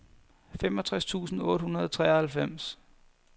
femogtres tusind otte hundrede og treoghalvfems